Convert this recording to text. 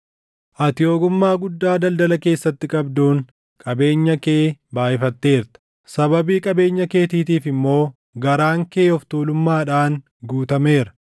Ati ogummaa guddaa daldala keessatti qabduun qabeenya kee baayʼifatteerta; sababii qabeenya keetiitiif immoo garaan kee of tuulummaadhaan guutameera.